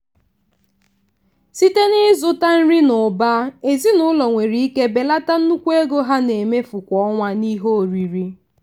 site n'ịzụta nri n'ụba ezinụlọ nwere ike belata nnukwu ego ha na-emefu kwa ọnwa n'ihe oriri.